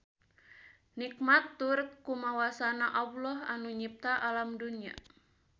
Nikmat tur kumawasana Alloh anu nyipta alam dunya